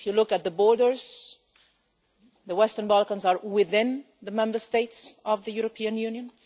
If you look at the borders, the Western Balkans are within the Member States of the European Union.